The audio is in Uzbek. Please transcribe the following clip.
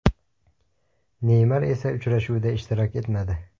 Neymar esa uchrashuvda ishtirok etmadi.